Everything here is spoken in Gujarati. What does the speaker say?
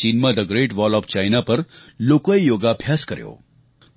ચીનમાં the great wall of China પર લોકોએ યોગાભ્યાસ કર્યો